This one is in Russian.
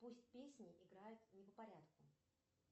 пусть песни играют не по порядку